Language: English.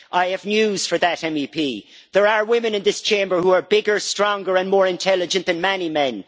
I have news for that MEP there are women in this Chamber who are bigger, stronger and more intelligent than many men.